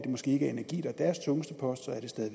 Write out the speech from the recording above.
måske ikke er energi der er deres tungeste post